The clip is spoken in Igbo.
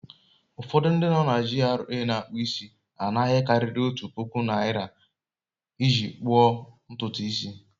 Ufọdụ ndị no na GRA na-akpụ isi na-ana ihe karịrị otu puku naira iji kpuo ntutu isi